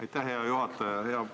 Aitäh, hea juhataja!